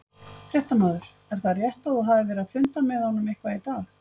Fréttamaður: Er það rétt að þú hafir verið að funda með honum eitthvað í dag?